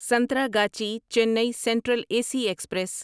Santragachi Chennai central A C express